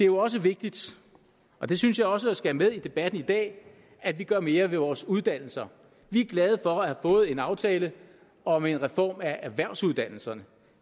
også vigtigt og det synes jeg også skal med i debatten i dag at vi gør mere ved vores uddannelser vi er glade for at fået en aftale om en reform af erhvervsuddannelserne